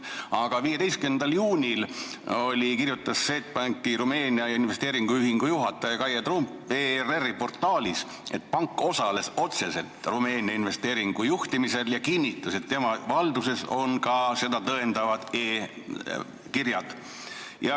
Aga 15. juunil kirjutas Swedbanki Rumeenia investeerimisühingu juhataja Kaie Trump ERR-i portaalis, et pank osales otseselt Rumeenia investeeringute juhtimisel, ja kinnitas, et tema valduses on ka seda tõendavad e-kirjad.